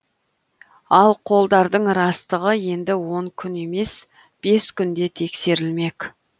ал қолдардың растығы енді он күн емес бес күнде тексерілмек